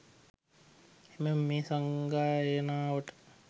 එමෙන්ම මේ සංගායනාවට